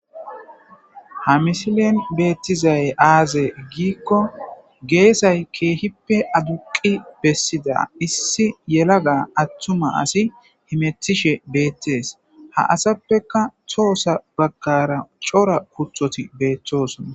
Ha missilen betizay aze giko gesay kehipe aduqi besiza issi yelaga atuma asi hemetishe betes ha asappekka tohosa bagara c'ora kutoti betosona.